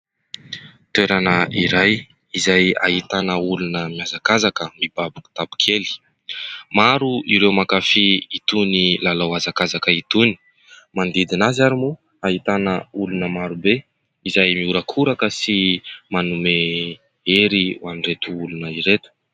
Toerana iray izay ahitana olona mihazakazaka mibaby kitapo kely ; maro ireo mankafy itony lalao hazakazaka itony, manodidina azy àry moa ! Ahitana olona maro be izay miorakoraka sy manome ery ho an'ireto olona ireto.